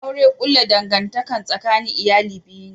Aure kulla dangantaka tsakanin iyali biyu ne